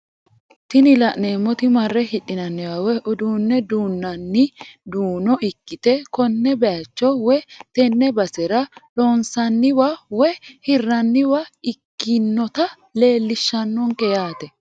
Tini la'neemoti marre hidhinanniwa woye uduunne duunanni duuno ikkite konne bayiicho woy tenne basera loonsanniwa woy hirranniwa ikkinota leellishshannonke yaate.